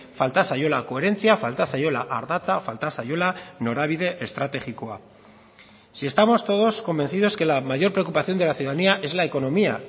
falta zaiola koherentzia falta zaiola ardatza falta zaiola norabide estrategikoa si estamos todos convencidos que la mayor preocupación de la ciudadanía es la economía